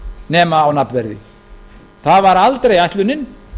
nema á nafnverði það var aldrei ætlunin